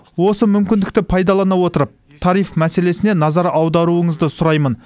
осы мүмкіндікті пайдалана отырып тариф мәселесіне назар аударуыңызды сұраймын